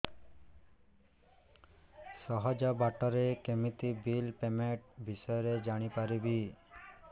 ସହଜ ବାଟ ରେ କେମିତି ବିଲ୍ ପେମେଣ୍ଟ ବିଷୟ ରେ ଜାଣି ପାରିବି